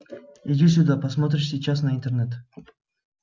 иди сюда посмотришь сейчас на интернет